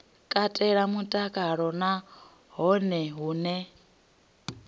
katela mutakalo na hone hune